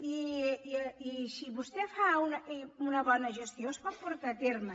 i si vostè fa una bona gestió es pot portar a terme